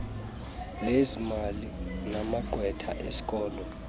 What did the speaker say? lezezimali namagqwetha esikolo